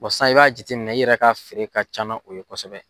sisan i b'a jate minɛ i yɛrɛ ka feere ka ca na o ye kosɛbɛ.